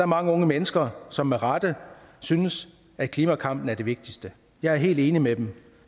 mange unge mennesker som med rette synes at klimakampen er det vigtigste jeg er helt enig med dem